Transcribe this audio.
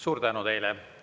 Suur tänu teile!